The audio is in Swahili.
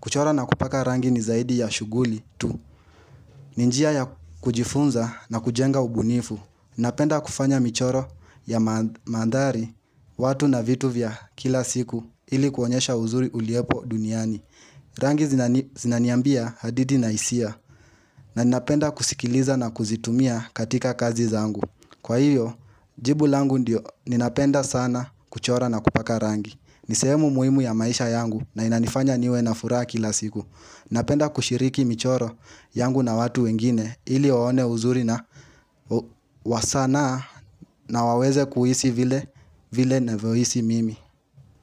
Kuchora na kupaka rangi ni zaidi ya shuguli tu. Ni njia ya kujifunza na kujenga ubunifu. Napenda kufanya michoro ya mandari watu na vitu vya kila siku ili kuonyesha uzuri uliepo duniani. Rangi zinaniambia hadidi na hisia na napenda kusikiliza na kuzitumia katika kazi zangu Kwa hiyo jibu langu ndiyo ninapenda sana kuchora na kupaka rangi nisehemu muhimu ya maisha yangu na inanifanya niwe na furaha kila siku napenda kushiriki michoro yangu na watu wengine ili waone uzuri na wasana na waweze kuhisi vile na vyo hisi mimi.